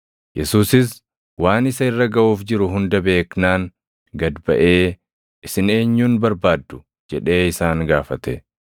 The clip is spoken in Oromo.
Yesuusis waan isa irra gaʼuuf jiru hunda beeknaan gad baʼee, “Isin eenyun barbaaddu?” jedhee isaan gaafate.